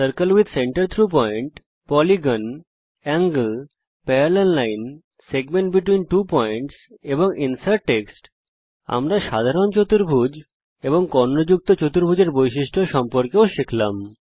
circle with centre through point polygon angle parallel line segment between two points এবং insert text আমরা সাধারণ চতুর্ভুজ এবং কর্ণযুক্ত চতুর্ভুজ এর বৈশিষ্ট্য সম্পর্কেও শিখলাম